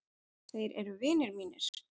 Þeir eru vinir mínir.